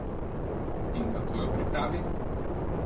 In kako jo pripravi?